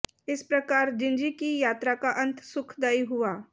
इस प्रकार जिंजीकी यात्राका अंत सुखदायी हुआ